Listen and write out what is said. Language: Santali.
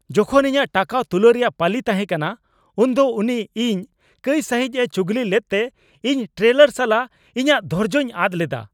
ᱡᱚᱠᱷᱚᱱ ᱤᱧᱟᱹᱜ ᱴᱟᱠᱟ ᱛᱩᱞᱟᱹᱣ ᱨᱮᱭᱟᱜ ᱯᱟᱹᱞᱤ ᱛᱟᱦᱮᱸ ᱠᱟᱱᱟ ᱩᱱᱫᱚ ᱩᱱᱤ ᱤᱧ ᱠᱟᱹᱭ ᱥᱟᱹᱦᱤᱡᱼᱮ ᱪᱩᱜᱽᱞᱤ ᱞᱮᱫᱛᱮ ᱤᱧ ᱴᱨᱮᱞᱟᱨ ᱥᱟᱞᱟᱜ ᱤᱧᱟᱹᱜ ᱫᱷᱳᱨᱡᱳᱧ ᱟᱫ ᱞᱮᱫᱟ ᱾